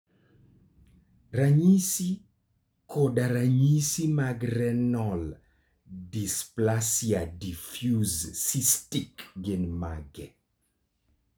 Ranyisi koda ranyisi mag Renal dysplasia diffuse cystic gin mage?